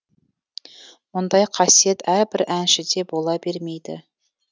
мұндай қасиет әрбір әншіде бола бермейді